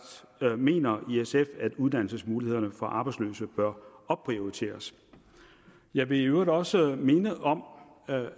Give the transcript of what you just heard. mener at uddannelsesmulighederne for arbejdsløse bør opprioriteres jeg vil i øvrigt også minde om